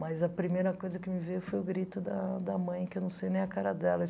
Mas a primeira coisa que me veio foi o grito da da mãe, que eu não sei nem a cara dela.